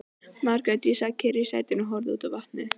Margrét sat kyrr í sætinu og horfði út á vatnið.